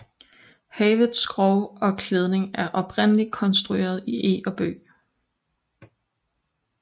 Havets skrog og klædning er oprindelig konstrueret i eg og bøg